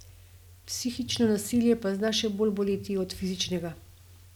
Psihično nasilje pa zna še bolj boleti od fizičnega.